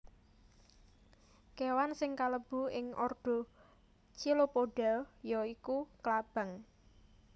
Kéwan sing kalebu ing ordo Chilopoda ya iku klabang